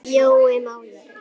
Jói málari